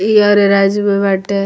इ अरे राज्य में बाटे।